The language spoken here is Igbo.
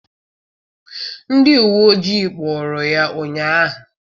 Ndị uwe ojii kpụụrụ ya ụnyaahụ.